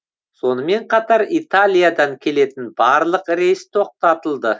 сонымен қатар италиядан келетін барлық рейс тоқтатылды